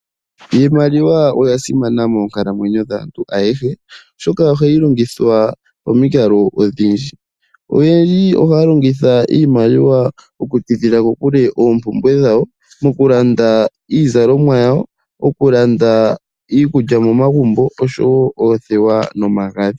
Iimaliwa oya simana moonkalamwenyo dhaantu ayeshe oshoka ohayi longithwa pomikalo odhindji oyendji ohaya longitha iimaliwa okutidhila kokule oompumwe dhawo mokulanda iizalomwa yawo mokulanda iikulya momagumbo osho woo oothewa nomagadhi.